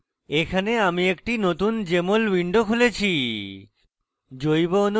এখানে আমি একটি নতুন jmol window খুলেছি